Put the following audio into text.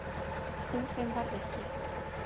Úr þeim varð ekki.